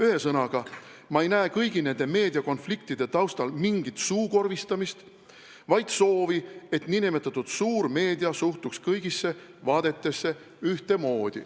Ühesõnaga, ma ei näe kõigi nende meediakonfliktide taustal mingit suukorvistamist, vaid soovi, et nn suur meedia suhtuks kõigisse vaadetesse ühtemoodi.